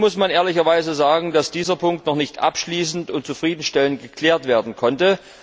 Hier muss man ehrlicherweise sagen, dass dieser Punkt noch nicht abschließend und zufriedenstellend geklärt werden konnte.